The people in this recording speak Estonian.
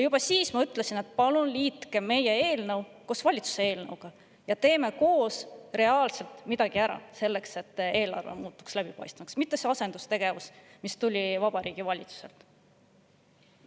Juba siis ma ütlesin, et palun liitke meie eelnõu valitsuse eelnõuga, teeme koos reaalselt midagi ära selleks, et eelarve muutuks läbipaistvaks, mitte sellele asendustegevusele, mis Vabariigi Valitsusest tuli.